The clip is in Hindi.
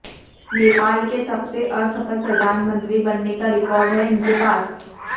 नेपाल के सबसे असफल प्रधानमंत्री बनने का रेकॉर्ड हैं इनके पास